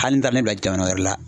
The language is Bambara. Hali n'i taara ne bila jamana wɛrɛ la